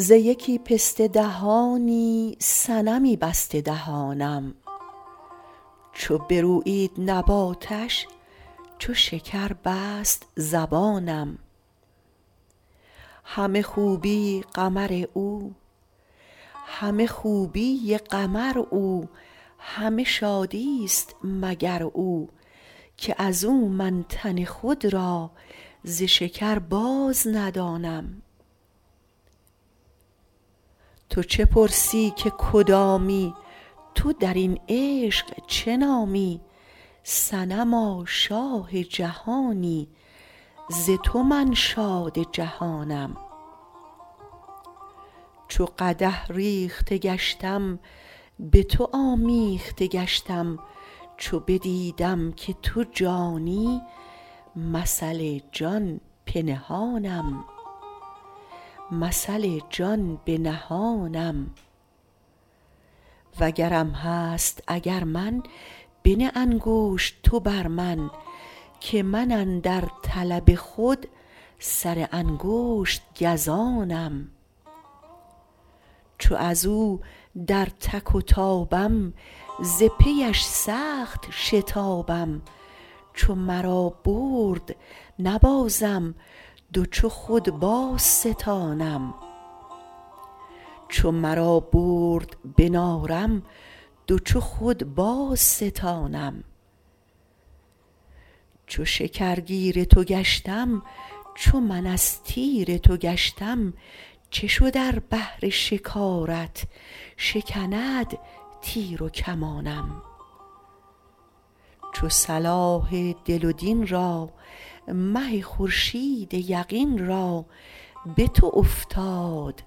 ز یکی پسته دهانی صنمی بسته دهانم چو برویید نباتش چو شکر بست زبانم همه خوبی قمر او همه شادی است مگر او که از او من تن خود را ز شکر بازندانم تو چه پرسی که کدامی تو در این عشق چه نامی صنما شاه جهانی ز تو من شاد جهانم چو قدح ریخته گشتم به تو آمیخته گشتم چو بدیدم که تو جانی مثل جان پنهانم وگرم هست اگر من بنه انگشت تو بر من که من اندر طلب خود سر انگشت گزانم چو از او در تک و تابم ز پیش سخت شتابم چو مرا برد به نارم دو چو خود بازستانم چو شکرگیر تو گشتم چو من از تیر تو گشتم چه شد ار بهر شکارت شکند تیر و کمانم چو صلاح دل و دین را مه خورشید یقین را به تو افتاد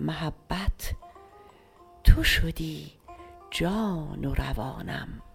محبت تو شدی جان و روانم